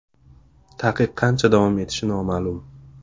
Taqiq qancha davom etishi noma’lum.